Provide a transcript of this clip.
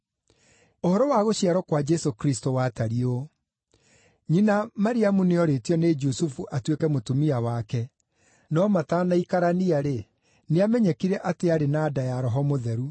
Ũhoro wa gũciarwo kwa Jesũ Kristũ watariĩ ũũ: Nyina Mariamu nĩ oorĩtio nĩ Jusufu atuĩke mũtumia wake, no matanaikarania-rĩ, nĩamenyekire atĩ arĩ na nda ya Roho Mũtheru.